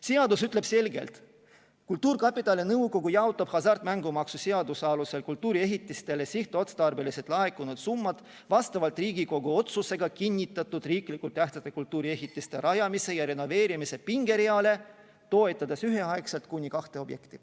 Seadus ütleb selgelt: "Kultuurkapitali nõukogu jaotab hasartmängumaksu seaduse alusel kultuuriehitistele sihtotstarbeliselt laekunud summad vastavalt Riigikogu otsusega kinnitatud riiklikult tähtsate kultuuriehitiste rajamise ja renoveerimise pingereale, toetades üheaegselt kuni kahte objekti.